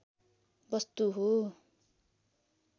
वस्तु हो